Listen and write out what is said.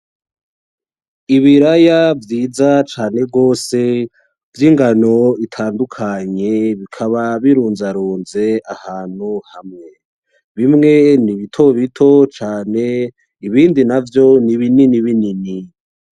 Ibiraya vyiza cane rwose vyingano itandukanye bikaba birunzarunze ahantu hamwe bimwe nibitobito cane ibindi navyo nibinini binini.